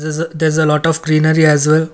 there is a there is a lot of greenery as well.